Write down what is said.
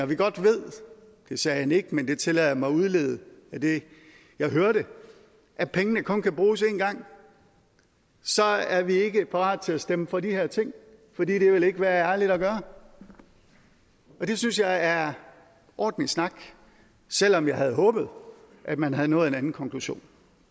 vi godt ved det sagde han ikke men det tillader jeg mig at udlede af det jeg hørte at pengene kun kan bruges én gang er vi ikke parat til at stemme for de her ting for det vil ikke være ærligt at gøre det synes jeg er ordentlig snak selv om jeg havde håbet at man havde nået en anden konklusion